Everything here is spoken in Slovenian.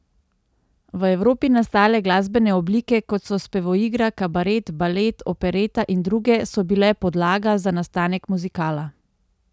V Evropi nastale glasbene oblike, kot so spevoigra, kabaret, balet, opereta in druge, so bile podlaga za nastanek muzikala.